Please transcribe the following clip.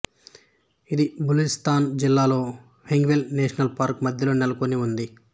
ఇది బలూచిస్తాన్ జిల్లాలో Hingol national park మధ్యలో నెలకొని ఉంది